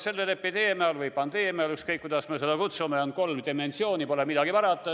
Sellel epideemial või pandeemial – ükskõik, kuidas me seda kutsume – on kolm dimensiooni, pole midagi parata.